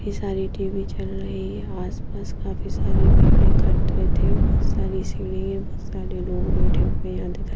काफी सारी टी_वी चल रही है आसपास काफी सारी भीड़ इकठे थे बहुत सारी सीढ़ी है बहुत सारे लोग बैठे हुए यहां दिख आ--